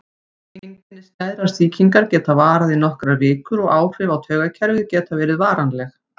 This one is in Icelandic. Einkenni skæðrar sýkingar geta varað í nokkrar vikur og áhrif á taugakerfið geta verið varanleg.